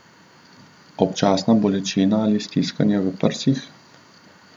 Občasna bolečina ali stiskanje v prsih?